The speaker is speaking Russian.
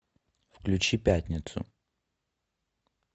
включи пятницу